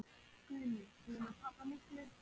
Guðný: Búinn að tapa miklu?